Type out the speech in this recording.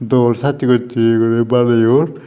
dol sassay tassay guri baneyoun.